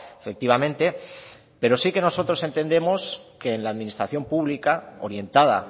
efectivamente pero sí que nosotros entendemos que en la administración pública orientada